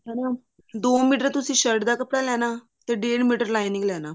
ਚਲੋ ਦੋ ਮੀਟਰ ਤੁਸੀਂ shirt ਦਾ ਕੱਪੜਾ ਲੈਣਾ ਤੇ ਡੇਡ ਮੀਟਰ lining ਲੈਣਾ